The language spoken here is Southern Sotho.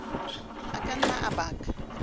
a ka nna a baka